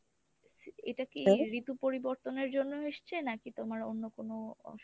এটা কী ঋতু পরিবর্তনের জন্য এসছে নাকি তোমার অন্য কোনো অসুখ?